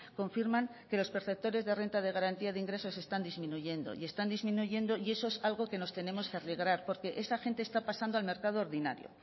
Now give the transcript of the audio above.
confirman que los perceptores de renta de garantía de ingresos están disminuyendo y están disminuyendo y eso es algo que nos tenemos que alegrar porque esta gente está pasando al mercado ordinario